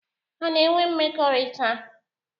Ha na-enwe mmekọrịta?